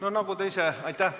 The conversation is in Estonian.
Aitäh!